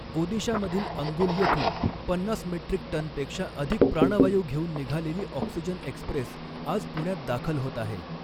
ओदिशामधील अङ्गुल येथून पन्नास मेट्रिक टनपेक्षा अधिक प्राणवायू घेऊन निघालेली ऑक्सिजन एक्स्प्रेस आज पुण्यात दाखल होत आहे.